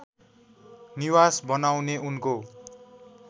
निवास बनाउने उनको